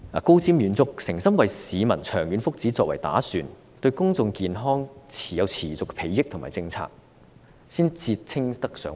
高瞻遠矚、誠心為市民長遠福祉作打算、對公眾健康有持續裨益的政策，才可以稱為德政。